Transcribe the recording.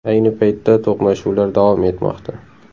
Ayni paytda to‘qnashuvlar davom etmoqda.